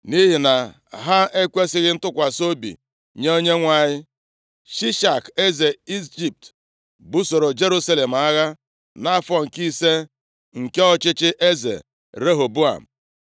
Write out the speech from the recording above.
Nʼihi na ha ekwesighị ntụkwasị obi nye Onyenwe anyị, Shishak eze Ijipt busoro Jerusalem agha nʼafọ nke ise nke ọchịchị eze Rehoboam.